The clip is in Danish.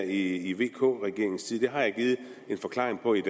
i vk regeringens tid det har jeg givet en forklaring på i